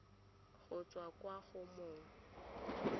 go tswa kwa go mong